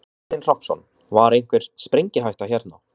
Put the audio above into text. Kristinn Hrafnsson: Var einhver sprengihætta hérna?